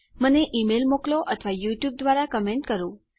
મને ઇમેલ મોકલો અથવા યુટ્યુબ દ્વારા કમેન્ટ કરો